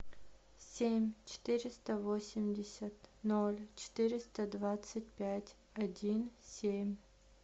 семь четыреста восемьдесят ноль четыреста двадцать пять один семь